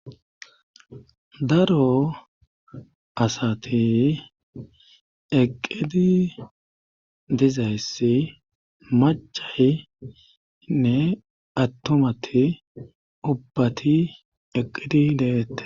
Daro asati eqqidi dizayssi machahinne attumati ubbati eqqidi deette.